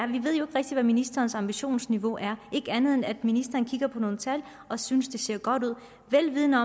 rigtig hvad ministerens ambitionsniveau er ikke andet end at ministeren kigger på nogle tal og synes det ser godt ud vel vidende